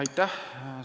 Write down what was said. Aitäh!